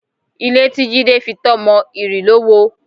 Ilé tí Jídé fitọ́ mọ, ìrì ló wo